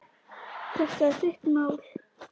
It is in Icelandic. Þetta er þitt mál.